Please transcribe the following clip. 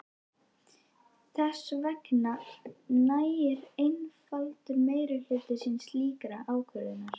Þess vegna nægir einfaldur meirihluti til slíkrar ákvörðunar.